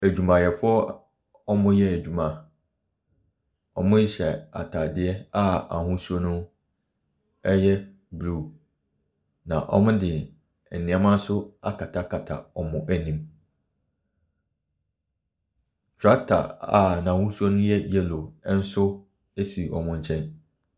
Adwumayɛfoɔ a ɔreyɛ adwuma, wɔhyɛ ataadeɛ a ahosuo no ɛyɛ blue na wɔde nnoɔma nso akatakata wɔn anim. Tractor a n'ahosuo no ɛyɛ yellow esi wɔn nkyɛn.